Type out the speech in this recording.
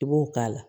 I b'o k'a la